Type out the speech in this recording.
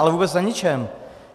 Ale vůbec na ničem.